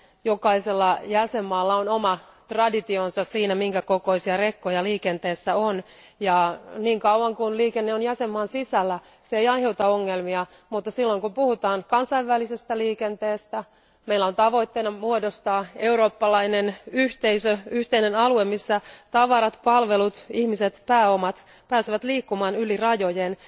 Jokaisella jäsenmaalla on oma traditionsa siinä, minkä kokoisia rekkoja liikenteessä on, ja niin kauan kun liikenne on jäsenmaan sisällä, se ei aiheuta ongelmia, mutta silloin kun puhutaan kansainvälisestä liikenteestä, meillä on tavoitteena muodostaa eurooppalainen yhteisö, yhteinen alue, missä tavarat, palvelut, ihmiset, pääomat pääsevät liikkumaan yli rajojen.